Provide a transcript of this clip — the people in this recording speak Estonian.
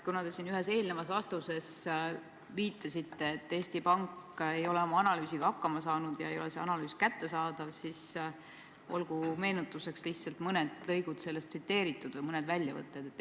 Kuna te siin ühes eelnevas vastuses viitasite, et Eesti Pank ei ole oma analüüsiga hakkama saanud ja see analüüs ei ole kättesaadav, siis olgu lihtsalt meenutuseks sellest mõned lõigud tsiteeritud või mõned väljavõtted esitatud.